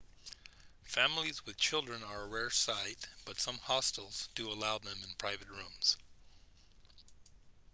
families with children are a rare sight but some hostels do allow them in private rooms